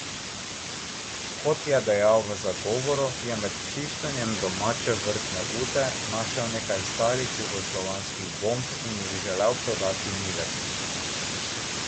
Kot je dejal v zagovoru, je med čiščenjem domače vrtne ute našel nekaj starih jugoslovanskih bomb in jih želel prodati Miletu.